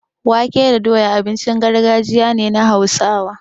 Wake da doya abincin gargajiya ne na Hausawa.